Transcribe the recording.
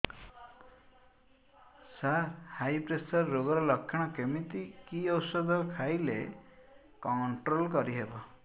ସାର high pressure ରୋଗର ଲଖଣ କେମିତି କି ଓଷଧ ଖାଇଲେ କଂଟ୍ରୋଲ କରିହେବ